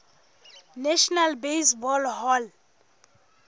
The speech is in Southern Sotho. national baseball hall